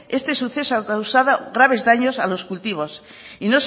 este suceso ha causado graves daños a los cultivos